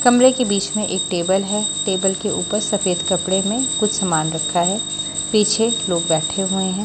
कमरे के बीच में एक टेबल है टेबल के ऊपर सफेद कपडे में कुछ समान रखा है पीछे लोग बैठे हुए हैं।